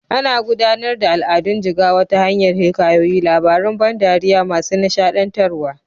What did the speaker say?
Ana gudanar da al'adun jigawa ta hanyar hikayoyi, labaran ban dariya masu nishaɗantarwa.